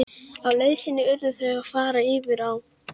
Á leið sinni urðu þau að fara yfir á.